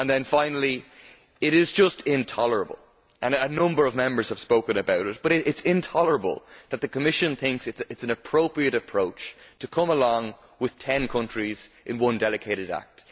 Finally, it is just intolerable and a number of Members have spoken about it that the Commission thinks it is an appropriate approach to come along with ten countries in one delegated act.